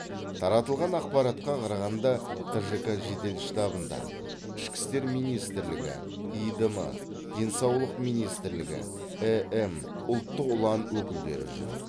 таратылған ақпаратқа қарағанда тжк жедел штабында ішкі істер министрлігі иидм денсаулық министрлігі эм ұлттық ұлан өкілдері жүр